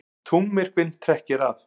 Tunglmyrkvinn trekkir að